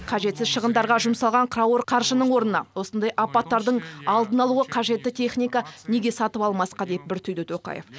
қажетсіз шығындарға жұмсалған қауырт қаржының орнына осындай апаттардың алдын алуға қажетті техника неге сатып алмасқа деп бір түйді тоқаев